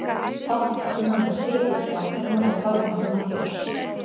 Fátt annað en sitja hjá henni og horfa á hana þjást.